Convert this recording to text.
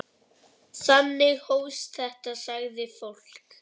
Þannig hófst þetta, sagði fólk.